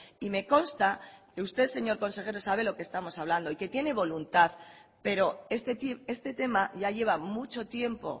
y me consta que usted señor consejero sabe lo que estamos hablando y que tiene voluntad pero es decir este tema ya lleva mucho tiempo